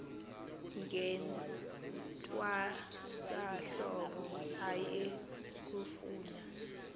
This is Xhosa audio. ngentwasahlobo aye kufuna